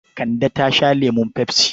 Kande ta sha lemun pepsi.